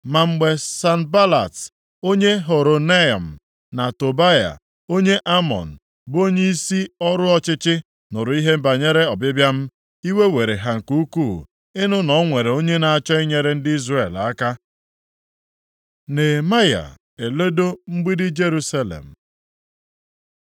Ma mgbe Sanbalat, + 2:10 Bụ onyeisi ọchịchị na Sameria. onye Horonaim, na Tobaya, onye Amọn bụ onyeisi ọrụ ọchịchị, nụrụ ihe banyere ọbịbịa m, iwe were ha nke ukwuu ịnụ na o nwere onye na-achọ inyere ndị Izrel aka. Nehemaya eledo Mgbidi Jerusalem